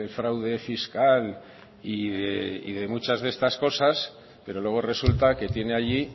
fraude fiscal y de muchas de estas cosas pero luego resulta que tiene allí